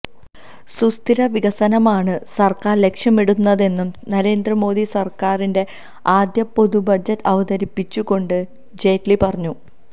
സുസ്ഥിര വികസനമാണ് സര്ക്കാര് ലക്ഷ്യമിടുന്നെന്നും നരേന്ദ്ര മോദി സര്ക്കാരിന്റെ ആദ്യ പൊതുബ്ജറ്റ് അവതരിപ്പിച്ചു കൊണ്ട് ജെയ്റ്റ്ലി പറഞ്ഞു